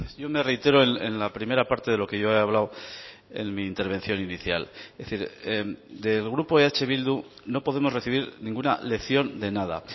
yo me reitero en la primera parte de lo que yo he hablado en mi intervención inicial es decir del grupo eh bildu no podemos recibir ninguna lección de nada